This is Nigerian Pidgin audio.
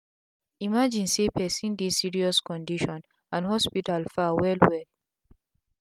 imagine say pesin dey serious condition and hospital far well well